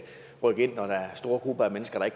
rykke når der er store grupper af mennesker der